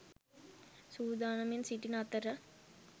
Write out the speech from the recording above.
සූදානමින් සිටින අතර